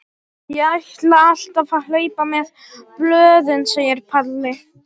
Ég ætla alltaf að hlaupa með blöðin, segir Palli.